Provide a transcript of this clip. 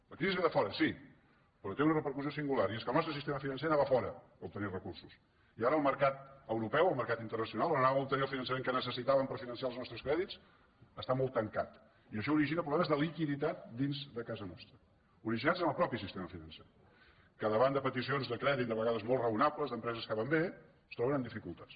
la crisi ve de fora sí però té una repercussió singular i és que el nostre sistema financer anava a fora a obtenir recursos i ara el mercat europeu el mercat internacional on anàvem a obtenir el finançament que necessitàvem per finançar els nostres crèdits està molt tancat i això origina problemes de liquiditat dins de casa nostra originats en el propi sistema financer que davant de peticions de crèdit de vegades molt raonables d’empreses que van bé es troba amb dificultats